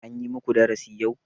An yi muku darashi yau?